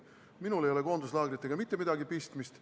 Minul ei ole koonduslaagritega mitte midagi pistmist.